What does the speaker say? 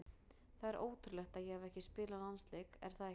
Það er ótrúlegt að ég hafi ekki spilað landsleik er það ekki?